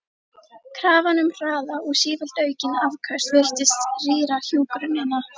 Krafan um hraða og sífellt aukin afköst virtist rýra hjúkrunina.